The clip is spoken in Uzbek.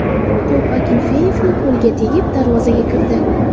To‘p Akinfeyevning qo‘liga tegib, darvozaga kirdi.